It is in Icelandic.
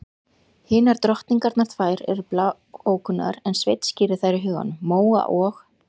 Hinar drottningarnar tvær voru bláókunnugar en Sveinn skírði þær í huganum: Móa og